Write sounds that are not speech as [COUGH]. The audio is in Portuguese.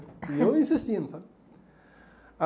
[LAUGHS] E eu insistindo, sabe?